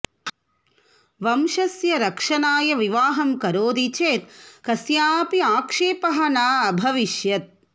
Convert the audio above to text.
वंशस्य रक्षणाय विवाहं करोति चेत् कस्यापि आक्षेपः न अभविष्यत्